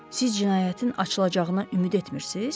Siz cinayətin açılacağına ümid etmirsiz?